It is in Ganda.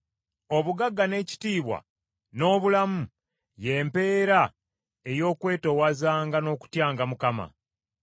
Obugagga n’ekitiibwa n’obulamu y’empeera ey’okwetoowazanga n’okutyanga Mukama .